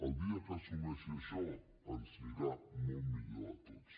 el dia que assumeixi això ens anirà molt millor a tots